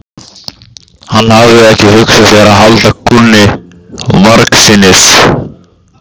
Hann hafði ekki hugsað sér að halda kúnni margsinnis.